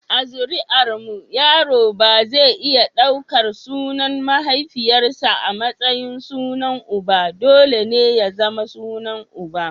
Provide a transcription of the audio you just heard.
A zuri’armu yaro ba zai iya daukar sunan mahaifiyarsa a matsayin sunan uba, dole ne ya zama sunan uba.